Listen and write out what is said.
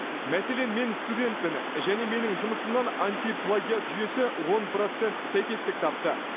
мәселен мен студентпін және менің жұмысымнан антиплагиат жүйесі он процент сәйкестік тапты